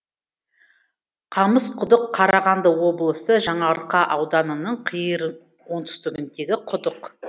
қамысқұдық қарағанды облысы жаңаарқа ауданының қиыр оңтүстікіндегі құдық